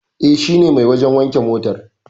E, shine mai wajen wanke motar.